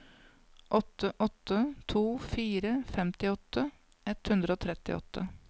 åtte åtte to fire femtiåtte ett hundre og trettiåtte